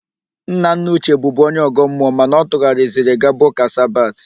Nnanna Uche bụbu onye ọ̀gọ́ mmụọ mana ọ tụghariziri gaba ụ́kà Sabat.